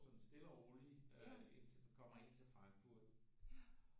Sådan stille og rolig øh indtil den kommer ind til Frankfurt